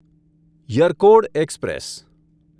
Yercaud express